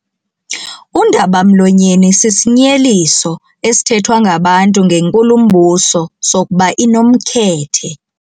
Undaba-mlonyeni sisinyeliso esithethwa ngabantu ngenkulumbuso sokuba inomkhethe.